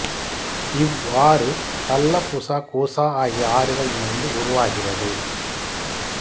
இவ் ஆறு Tallapoosa Coosa ஆகிய ஆறுகள் இணைந்து உருவாகிறது